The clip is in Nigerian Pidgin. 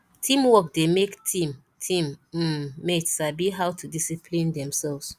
teamwork dey make team team um mate sabi how to discipline themselves